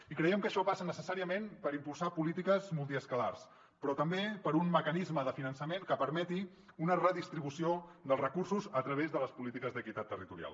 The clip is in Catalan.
i creiem que això passa necessàriament per impulsar polítiques multiescalars però també per un mecanisme de finançament que permeti una redistribució dels recursos a través de les polítiques d’equitat territorial